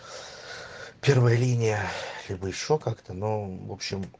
первая линия либо ещё как-то ну в общем